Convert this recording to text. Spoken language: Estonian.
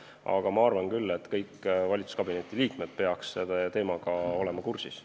Aga ma arvan küll, et kõik valitsuskabineti liikmed peaksid olema selle teemaga kursis.